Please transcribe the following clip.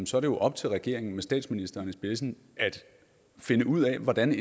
så er op til regeringen med statsministeren i spidsen at finde ud af hvordan